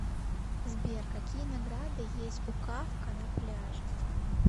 сбер какие награды есть у кафка на пляже